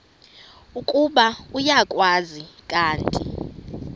ukuba uyakwazi kanti